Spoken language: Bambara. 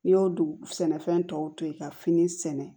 N'i y'o dugu sɛnɛfɛn tɔw to yen ka fini sɛnɛ